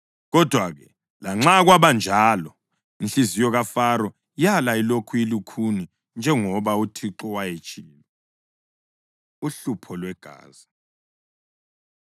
Kodwa-ke, lanxa kwabanjalo, inhliziyo kaFaro yala ilokhu ilukhuni; njengoba uThixo wayetshilo. Uhlupho Lwegazi